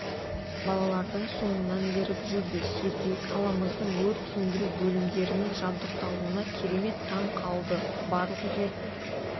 балалардың соңынан еріп жүрді сергей қаламыздың өрт сөндіру бөлімдерінің жабдықталуына керемет таң қалды барлық жерде